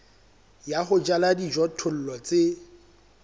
ya ho jala dijothollo tse